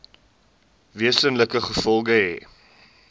wesenlike gevolge hê